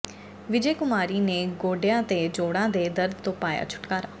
ਵਿਜੇ ਕੁਮਾਰੀ ਨੇ ਗੋਡਿਆਂ ਤੇ ਜੋੜਾਂ ਦੇ ਦਰਦ ਤੋਂ ਪਾਇਆ ਛੁਟਕਾਰਾ